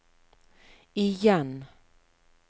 igjen